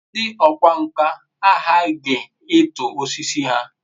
ndi okwá nkà aghaghi itu osiso ha